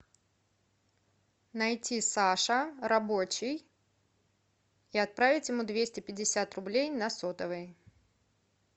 найти саша рабочий и отправить ему двести пятьдесят рублей на сотовый